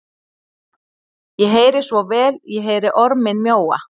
Ég heyri svo vel, ég heyri orminn mjóa,